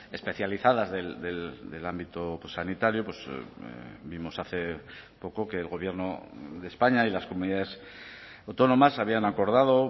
especializadas del ámbito sanitario vimos hace poco que el gobierno de españa y las comunidades autónomas habían acordado